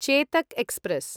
Chetak express